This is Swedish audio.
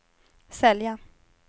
sälja